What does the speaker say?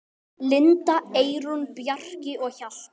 Linda, Eyrún, Bjarki og Hjalti.